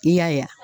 I y'a ye wa